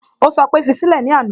Ó sọ pé "fi sílẹ̀" ní àná